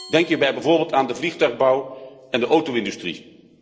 Denk hierbij bijvoorbeeld aan de vliegtuigbouw en de auto industrie.